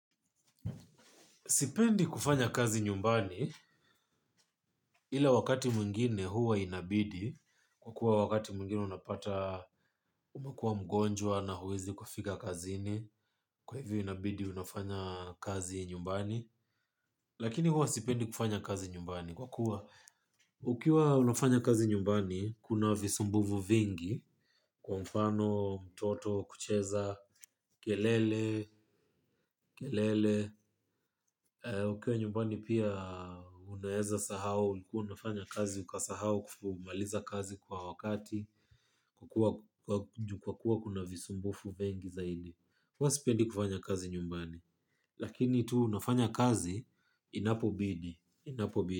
Sipendi kufanya kazi nyumbani ila wakati mwingine huwa inabidi kwa kuwa wakati mwingine unapata umekua mgonjwa na huwezi kufika kazini, kwa hivyo inabidi unafanya kazi nyumbani. Lakini huwa sipendi kufanya kazi nyumbani kwa kuwa ukiwa unafanya kazi nyumbani kuna visumbuvu vingi kwa mfano mtoto kucheza kelele kelele. Ukiwa nyumbani pia unaeza sahau ulikuwa unafanya kazi ukasahau kumaliza kazi kwa wakati, kwa kuwa kuna visumbufu vingi zaidi. Huwa sipendi kufanya kazi nyumbani, lakini tu nafanya kazi inapobidi.